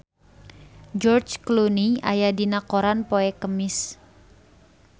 George Clooney aya dina koran poe Kemis